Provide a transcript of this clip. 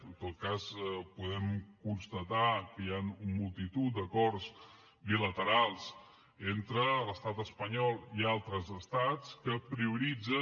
en tot cas podem constatar que hi han multitud d’acords bilaterals entre l’estat espanyol i altres estats que prioritzen